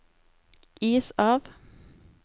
is av